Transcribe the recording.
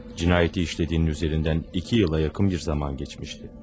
Cinayəti işlədiyin üzərindən iki ilə yaxın bir zaman keçmişdi.